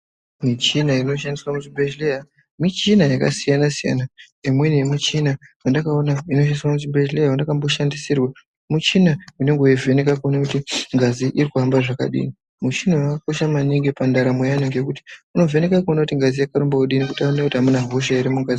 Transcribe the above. Michina inoshandiswa muchibhedhlera michina yakasiyana-siyana. Imweni yemichina iyi yendakaona yechishandiswa muchibhedhlera yendakamboshandisirwa michina inenge yeivheneka kuti ngazi irikuhamba zvakadii. Michiniyo yakakosha maningi pandaramo yeantu ngekuti inovheneke kuone kuti ngazi yako irikurumbe kudini uye kuti hamuna khosha here mungazi.